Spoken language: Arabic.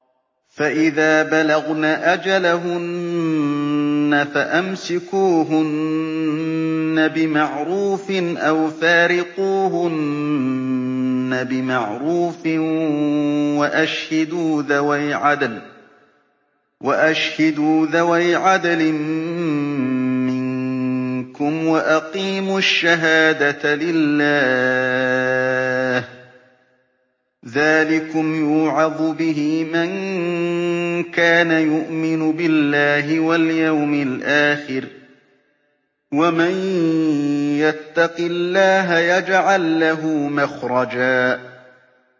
فَإِذَا بَلَغْنَ أَجَلَهُنَّ فَأَمْسِكُوهُنَّ بِمَعْرُوفٍ أَوْ فَارِقُوهُنَّ بِمَعْرُوفٍ وَأَشْهِدُوا ذَوَيْ عَدْلٍ مِّنكُمْ وَأَقِيمُوا الشَّهَادَةَ لِلَّهِ ۚ ذَٰلِكُمْ يُوعَظُ بِهِ مَن كَانَ يُؤْمِنُ بِاللَّهِ وَالْيَوْمِ الْآخِرِ ۚ وَمَن يَتَّقِ اللَّهَ يَجْعَل لَّهُ مَخْرَجًا